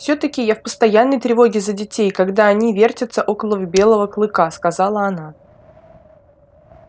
всё-таки я в постоянной тревоге за детей когда они вертятся около белого клыка сказала она